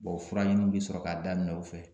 Bɔn o fura ɲiniw bi sɔrɔ k'a daminɛ u fɛ